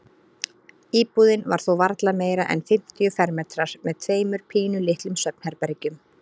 Íbúðin var þó varla meira en fimmtíu fermetrar með tveimur pínulitlum svefnherbergjum.